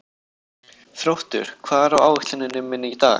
Þróttur, hvað er á áætluninni minni í dag?